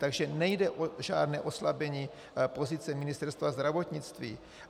Takže nejde o žádné oslabení pozice Ministerstva zdravotnictví.